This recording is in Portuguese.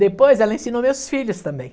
Depois ela ensinou meus filhos também.